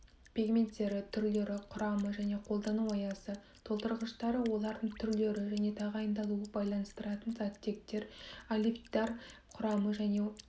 пигменттері түрлері құрамы және қолдану аясы толтырғыштары олардың түрлері және тағайындалу байланыстыратын заттектер олифтар құрамы және